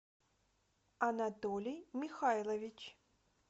анатолий михайлович